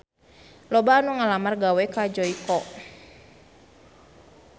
Loba anu ngalamar gawe ka Joyko